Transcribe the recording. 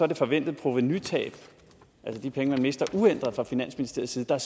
det forventede provenutab altså de penge man mister uændret fra finansministeriets side der